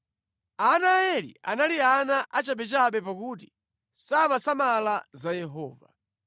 Ana a Eli anali ana achabechabe pakuti samasamala za Yehova.